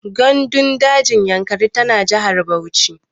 Gandun dajin Yankari tana jihar Bauchi.